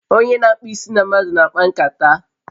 Onye n'akpu isi na mmadu n'akpankata